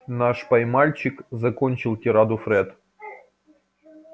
наш пай-мальчик закончил тираду фред